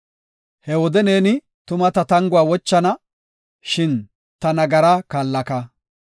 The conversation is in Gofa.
He wode neeni tuma ta tanguwa wochana; shin ta nagaraa kaallaka.